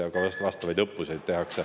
Ja ka vastavaid õppuseid tehakse.